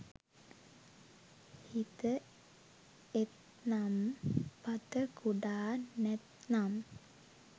හිත එත්නම් පත කුඩා නැත්නම්